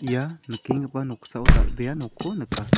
ia nikenggipa noksao dal·bea nokkon nika.